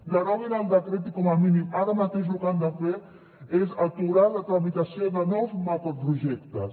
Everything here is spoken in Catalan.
deroguin el decret i com a mínim ara mateix lo que han de fer és aturar la tramitació de nous macroprojectes